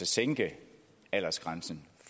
sænke aldersgrænsen